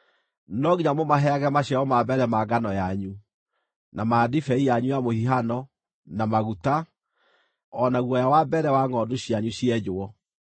No nginya mũmaheage maciaro ma mbere ma ngano yanyu, na ma ndibei yanyu ya mũhihano, na maguta, o na guoya wa mbere wa ngʼondu cianyu cienjwo,